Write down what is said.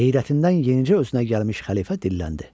Heyrətindən yenicə özünə gəlmiş xəlifə dilləndi.